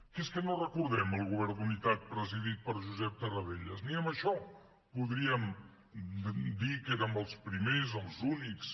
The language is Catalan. que és que no recordem el govern d’unitat presidit per josep tarradellas ni en això podríem dir que érem els primers els únics